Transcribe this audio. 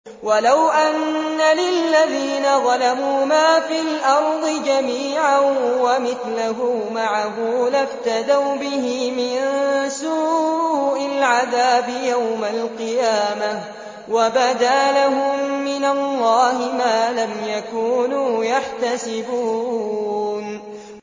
وَلَوْ أَنَّ لِلَّذِينَ ظَلَمُوا مَا فِي الْأَرْضِ جَمِيعًا وَمِثْلَهُ مَعَهُ لَافْتَدَوْا بِهِ مِن سُوءِ الْعَذَابِ يَوْمَ الْقِيَامَةِ ۚ وَبَدَا لَهُم مِّنَ اللَّهِ مَا لَمْ يَكُونُوا يَحْتَسِبُونَ